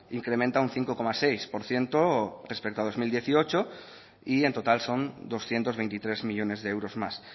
incrementa un cinco coma seis por ciento respecto a dos mil dieciocho y en total son doscientos veintitrés millónes de euros más